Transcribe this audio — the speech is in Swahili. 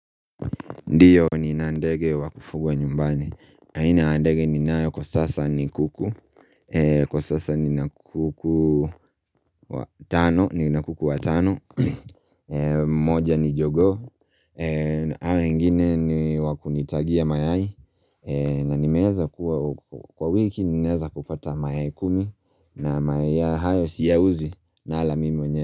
Ndio ni na ndege wakufugwa nyumbani. Aina ya ndege ni nayo kwa sasa ni kuku. Kwa sasa nina kuku watano. Ni nakuku watano. Moja ni jogoo. Hao wengini ni wakunitagia mayai. Na nimeeza kuwa kwa wiki ninaweza kupata mayai kumi. Na mayai haya siyauzi nala mimi mwenyewe.